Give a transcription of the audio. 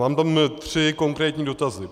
Mám tam tři konkrétní dotazy.